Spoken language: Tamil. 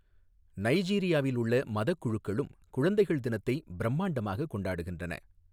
நைஜீரியாவில் உள்ள மதக் குழுக்களும் குழந்தைகள் தினத்தை பிரமாண்டமாக கொண்டாடுகின்றன.